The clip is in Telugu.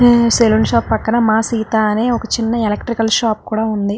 సల్లోన్ షాప్ పక్కన మా సీత అనే ఒక చిన్న ఎలక్ట్రిక్ షాప్ కూడా వుంది.